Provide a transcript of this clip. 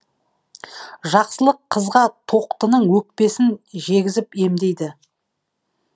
жақсылық қызға тоқтының өкпесін жегізіп емдейді